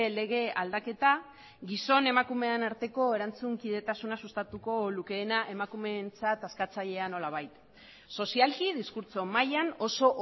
lege aldaketa gizon emakumeen arteko erantzun kidetasuna sustatuko lukeena emakumeentzat askatzailea nolabait sozialki diskurtso mailan oso